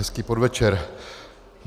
Hezký podvečer.